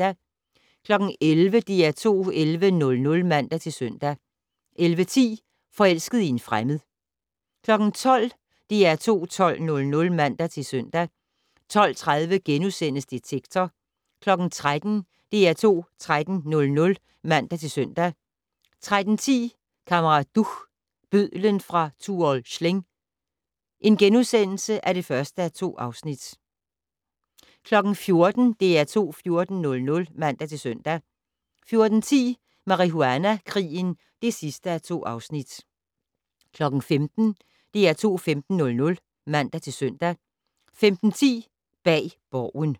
11:00: DR2 11:00 (man-søn) 11:10: Forelsket i en fremmed 12:00: DR2 12:00 (man-søn) 12:30: Detektor * 13:00: DR2 13:00 (man-søn) 13:10: Kammerat Duch - bødlen fra Tuol Sleng (1:2)* 14:00: DR2 14:00 (man-søn) 14:10: Marihuana-krigen (2:2) 15:00: DR2 15:00 (man-søn) 15:10: Bag Borgen